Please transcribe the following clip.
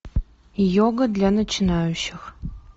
йога для начинающих